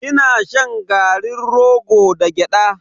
Ina shan garin rogo da gyada.